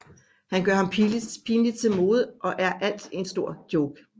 Han gør ham pinligt til mode og alt er en stor joke